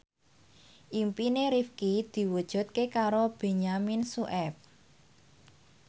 impine Rifqi diwujudke karo Benyamin Sueb